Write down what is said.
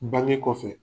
Bange kɔfɛ